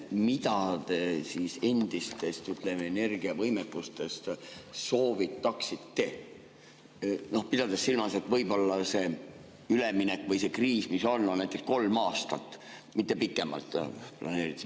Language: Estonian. Mida te endistest energiavõimekustest soovitaksite, pidades silmas, et võib-olla see üleminek või kriis, mis on, kestab näiteks kolm aastat, mitte pikemalt?